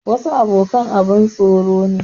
Wasu abokan abun tsoro ne.